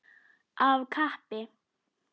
Af kappi.